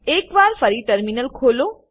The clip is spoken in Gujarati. એક વાર ફરી ટર્મિનલ ખોલો